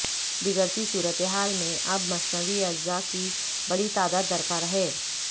بگڑتی صورتحال میں اب مصنوعی اعضاء کی بڑی تعداد درکار ہے